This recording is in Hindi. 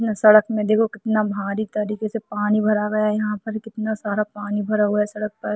कितना सड़क में देखो कितना भारी तरीकों से पानी भरा हुआ है यहाँ पर कितना सारा पानी भरा हुआ है सड़क पर।